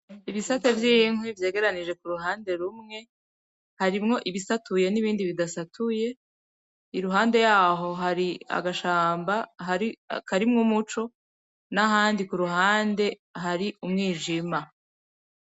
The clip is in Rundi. Ibisate vy'inkwi vyegeranije k'uruhande rumwe, harimwo ibisatuye n'ibindi bidasatuye, iruhande yaho hari agashamba karimwo umuco n'ahandi kuruhande hari umwijima.